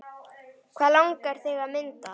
Hvað langar þig að mynda?